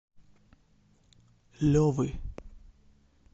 левы